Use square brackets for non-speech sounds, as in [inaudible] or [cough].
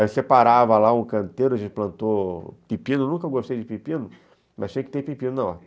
Aí eu separava lá um canteiro, a gente plantou pepino, nunca gostei de pepino, [laughs] mas achei que tem pepino na horta.